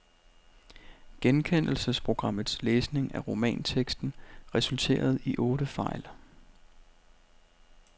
Genkendelsesprogrammets læsning af romanteksten resulterede i otte fejl.